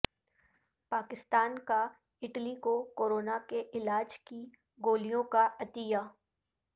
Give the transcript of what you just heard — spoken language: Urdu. پاکستان کا اٹلی کو کورونا کے علاج کی گولیوں کا عطیہ